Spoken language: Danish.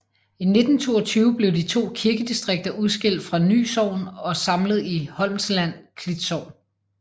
I 1922 blev de to kirkedistrikter udskilt fra Ny Sogn og samlet i Holmsland Klit Sogn